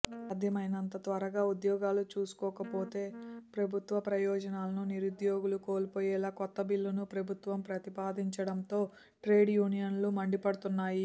సాధ్యమైనంత త్వరగా ఉద్యోగాలు చూసుకోకపోతే ప్రభుత్వ ప్రయోజనాలను నిరుద్యోగులు కోల్పోయేలా కొత్త బిల్లును ప్రభుత్వం ప్రతిపాదించడంతో ట్రేడ్ యూనియన్లు మండిపడుతున్నాయి